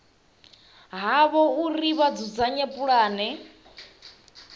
havho uri vha dzudzanye pulane